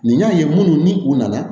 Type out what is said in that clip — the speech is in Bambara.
Nin y'a ye minnu ni u nana